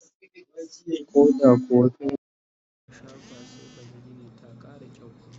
koh da kuwa fainti aka shafa sai kaga Gini ta Kara kyau